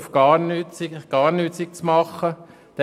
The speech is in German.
Also haben wir doch eine Differenz.